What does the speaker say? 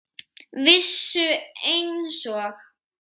Vissu einsog